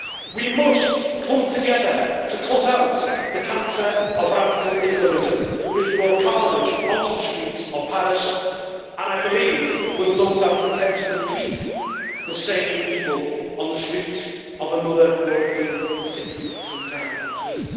We must come together to cut out the cancer of radical Islamism which brought carnage onto the streets of Paris and, I believe, will attempt to repeat the same evil on the streets of another European city sometime soon.